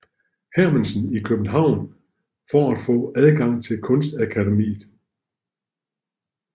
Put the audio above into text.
Hermansen i København for at få adgang til Kunstakademiet